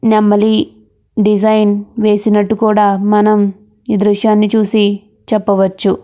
నెమలి డిజైన్ వేసినట్టు కుడా మనం ఈ డిజైన్ ని చూసి చెప్పవచ్చు .